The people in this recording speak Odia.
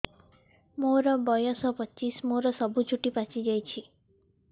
ମୋର ବୟସ ପଚିଶି ମୋର ସବୁ ଚୁଟି ପାଚି ଯାଇଛି